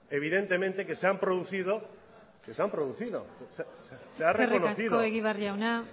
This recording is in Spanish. evidentemente se han producido se ha reconocido eskerrik asko egibar jauna